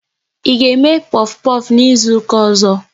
Ị ga eme pofu pofu n'izuka ọzọ?